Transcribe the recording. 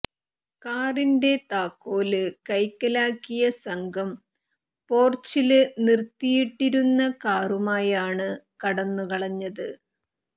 കാറിന്റെ താക്കോല് കൈക്കലാക്കിയ സംഘം പോര്ച്ചില് നിര്ത്തിയിട്ടിരുന്ന കാറുമായാണ് കടന്നുകളഞ്ഞത്